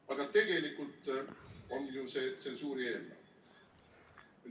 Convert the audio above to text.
Aga tegelikult on ju see tsensuuri eelnõu.